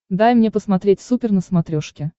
дай мне посмотреть супер на смотрешке